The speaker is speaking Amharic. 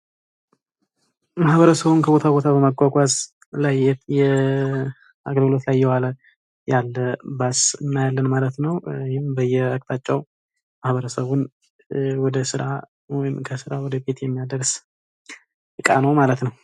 ማህበረሰቡን ከቦታ ቦታ በማጓጓዝ ኣገልግሎት ላይ ያለ ባስ እናያለን ማለት ነው። ይህም በየአቅጣጫው ማህበረሰቡን ወደስራ ወይም የሚያደርስ እቃ ነው ማለት ነው።